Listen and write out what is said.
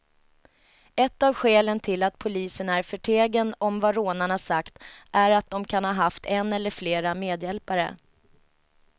Ett av skälen till att polisen är förtegen om vad rånarna sagt är att de kan ha haft en eller flera medhjälpare.